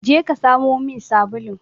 Je ka samo min sabulun!